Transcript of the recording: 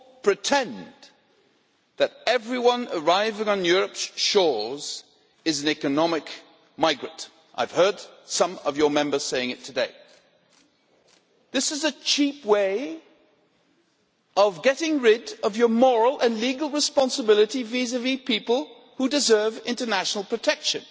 pretend that everyone arriving on Europe's shores is an economic migrant. I have heard some of your Members saying it today. This is a cheap way of getting rid of your moral and legal responsibility vis-à-vis people who deserve international protection,